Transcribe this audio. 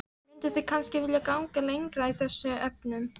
Mynduð þið kannski vilja ganga lengra í þessum efnum?